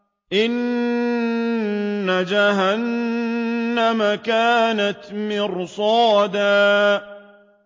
إِنَّ جَهَنَّمَ كَانَتْ مِرْصَادًا